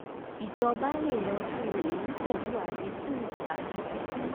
ìjọba lè yanjú èyí pẹ̀lú àdínkù tàbí fí kún owó àwọn òṣìṣẹ́.